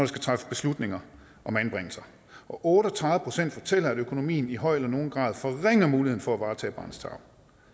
skal træffes beslutninger om anbringelser og otte og tredive fortæller at økonomien i høj eller nogen grad forringer muligheden for at varetage barnets tarv